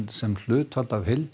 sem hlutfall af heild